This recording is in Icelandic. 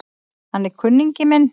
Hann er kunningi minn